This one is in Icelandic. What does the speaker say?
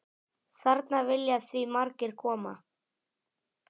Þarna vilja því margir koma.